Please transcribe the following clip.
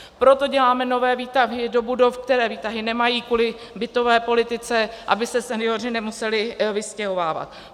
Proto děláme nové výtahy do budov, které výtahy nemají, kvůli bytové politice, aby se senioři nemuseli vystěhovávat.